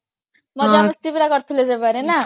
ମଜା ମସ୍ତି ପୁରା କରୁଥିଲେ ନା